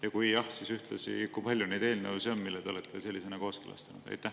Ja kui jah, siis ühtlasi, kui palju neid eelnõusid on, mille te olete sellisena kooskõlastanud?